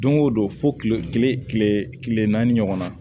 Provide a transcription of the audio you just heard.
Don o don fo kile kile naani ɲɔgɔn na